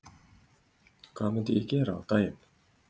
Tengist þið einhverjum stjórnmálahreyfingum?